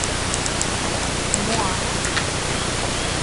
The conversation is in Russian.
моана